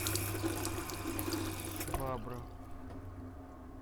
швабра